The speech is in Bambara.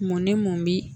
Mun ne mun bi